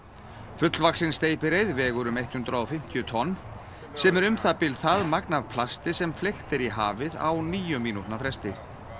fullvaxin steypireyður vegur um hundrað og fimmtíu tonn sem er um það bil það magn af plasti sem fleygt er í hafið á níu mínútna fresti